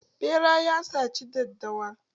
Ɓera ya saci daddawa.